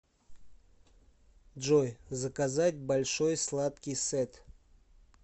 джой заказать большой сладкий сет